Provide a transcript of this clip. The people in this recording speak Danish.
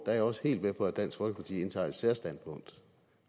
jeg også helt med på at dansk folkeparti indtager et særstandpunkt